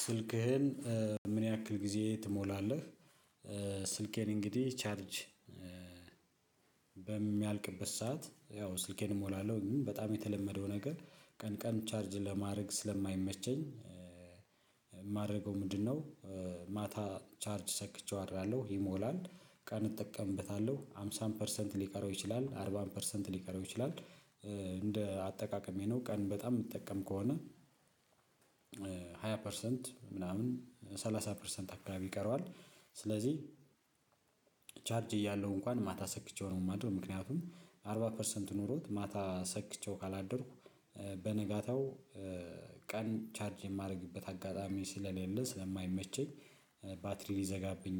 ስልክህን ምን ያክል ጊዜ ትሞላለህ? ስልኬን እንግዲህ ቻርጅ በሚያልቅበት ሰዓት ያው ስልኬን እሞላለሁ በጣም የተለመደው ነገር ቀን ቀን ቻርጅ ለማድረግ ስለማይመቸኝ። የማደርገው ምንድነው? ማታ ቻርጅ ሰክቼው አድራለሁ ይሞላል ቀን እጠቀምበታለሁ ሃምሳም ፐርሰንት ሊቀረው ይችላል አርባም ፐርሰንት ሊቀረው ይችላል። እንደ አጠቃቀም ይሄ ነው ቀን በጣም የምትጠቀም ከሆነ። ሃያ ፐርሰንት ምናምን ሰላሳ ፐርሰንት አካባቢ ይቀረዋል። ስለዚህ ቻርጅ እያለው እንኳን ማታ ሰክቼው ነው የማድረው ምክንያቱም አርባ ፐርሰንት ኖሮት ማታ ሰክቼው ካላደርኩ። በነጋታው ማታ ቻርጅ ሰክቼው አድራለሁ ይሞላል ቀን እጠቀምበታለሁ ሃምሳን ፐርሰንት ሊቀረው ይችላል። አርባን ፐርሰንት ሊቀረው ይችላል እንደ አጠቃቀም ይሄ ነው ቀን በጣም የምትጠቀም ከሆነ ሃያ ፐርሰንት ምናምን ሰላሳ ፐርሰንት አካባቢ ቀረዋል